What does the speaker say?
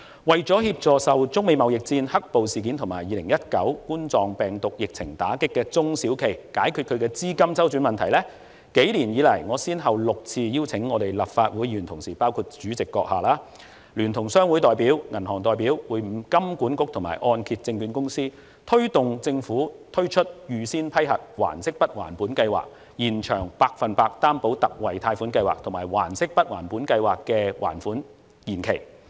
為了協助受中美貿易戰、"黑暴"事件及2019冠狀病毒病疫情打擊的中小型企業解決資金周轉問題，幾年以來，我先後6次邀請立法會議員同事，包括主席閣下，聯同商會代表、銀行代表會晤香港金融管理局及香港按揭證券有限公司，推動政府推出預先批核還息不還本計劃、延長百分百擔保特惠貸款計劃，以及延長預先批核還息不還本計劃的還款期。